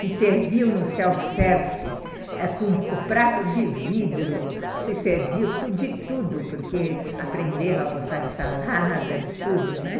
se serviam no self-service ãh com o prato de vidro, se serviam de tudo, porque aprenderam a gostar de salada, de tudo, né?